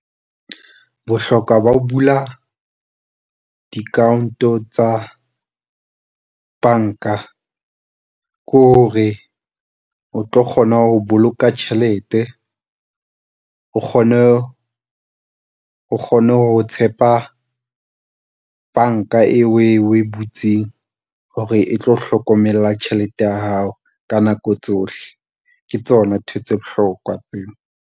Bohlokwa ba ho bula di-account o tsa banka ke hore o tlo kgona ho boloka tjhelete o kgone ho tshepa banka eo o we e butseng hore e tlo hlokomela tjhelete ya hao ka nako tsohle. Ke tsona ntho tse bohlokwa tseo.